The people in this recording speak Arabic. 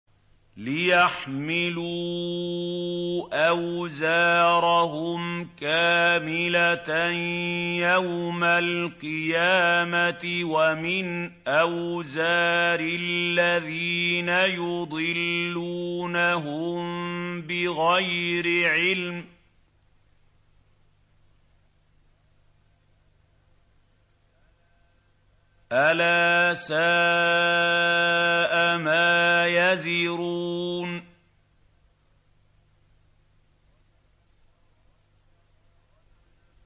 لِيَحْمِلُوا أَوْزَارَهُمْ كَامِلَةً يَوْمَ الْقِيَامَةِ ۙ وَمِنْ أَوْزَارِ الَّذِينَ يُضِلُّونَهُم بِغَيْرِ عِلْمٍ ۗ أَلَا سَاءَ مَا يَزِرُونَ